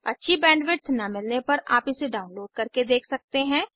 अच्छी बैंडविड्थ न मिलने पर आप इसे डाउनलोड करके देख सकते हैं